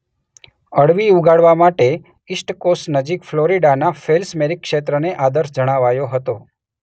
અળવી ઉગાડવા માટે ઈસ્ટ કોસ્ટ નજીક ફ્લોરિડાના ફેલ્સમેરી ક્ષેત્રને આદર્શ જણાવાયો હતો.